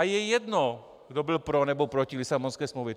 A je jedno, kdo byl pro, nebo proti Lisabonské smlouvě.